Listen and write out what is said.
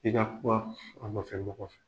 I ka kuma a ma fɛn k'o kɔfƐ